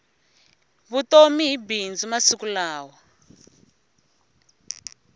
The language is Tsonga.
vutomi hi bindzu masiku lawa